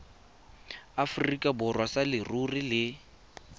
aforika borwa sa leruri le